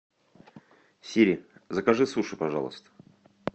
сири закажи суши пожалуйста